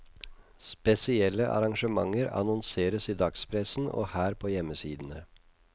Spesielle arrangementer annonseres i dagspressen og her på hjemmesidene.